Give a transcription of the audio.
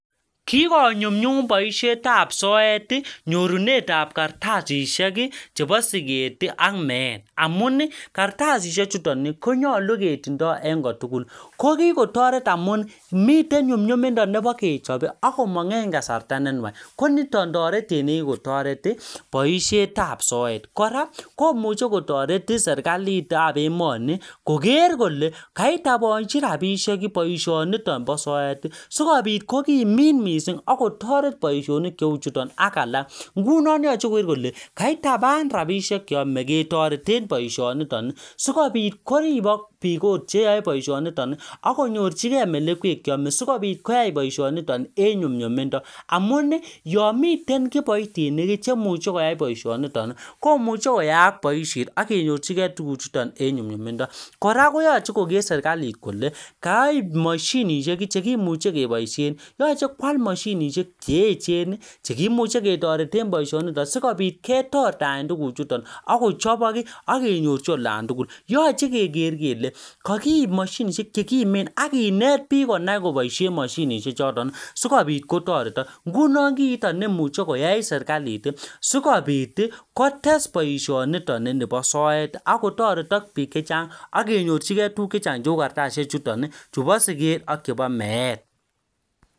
kigonyumnyun boishet ab soet iih nyiruneet ab kartasisiek chebo sigeet iih ak meet, amuun iih kartasisiek chuton konyolu ketinddoo en kotugul, ko kigotoret amuun miten nyumnyumindo nebo kechob iih ak komong en kasarta nennwach koniton toretet nekigotoret iih boishet ab soet, koraa komuche kotoret serkaliit ab emoni koger kole kait kogochi kasisiyek boishoniton bo soet iih sigobiit kogimiit mising ak kotoret boishonik cheuu chuton ak alak, ngunon iboru kole kaitabaan rabishek cheome kotoreten boishoniton sigobiit koribook biik cheyoe boishoniton ak konyorchigee melekweet cheome sigobiit koyai boishoniton en nyumnyumindo amuun iih yoon miten kipoitinik iih chemuche koyaai boishoniton komuche koyaak boishet ak kenyorchigee tuguk chuton en nyumnyumindo, kora koyoche kogeer serkaliit kole koib moshinishek chekimuche keboishen, yoche koaal moshinishek cheechen cheimuche ketoreten boishoniton sigobiit ketortaen boishoniton ak kochobok ak kenyorchi olantugul, yoche kegeer kele kogiib moshinishek chegimeen ak kineet biik konai koboishen moshinishek chuton sigobiit kotoretok, ngunon kiiton nemuche koyai serlakishek sigobiit iih kotes boishoniton inibo soet ak kotoretok biik chechang ak kenyorchigee tuguuk chechang cheuu kartasisiek chuton iih chubo sigeet ak chebo meet.